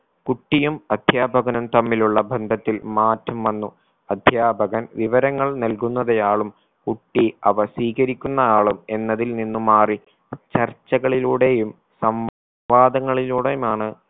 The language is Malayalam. കുട്ടിയും അധ്യാപകനും തമ്മിലുള്ള ബന്ധത്തിൽ മാറ്റം വന്നു അധ്യാപകൻ വിവരങ്ങൾ നൽകുന്നവയാളും കുട്ടി അവ സ്വീകരിക്കുന്ന ആളും എന്നതിൽ നിന്നും മാറി ചർച്ചകളിലൂടെയും സം വാദങ്ങളിലൂടെയുമാണ്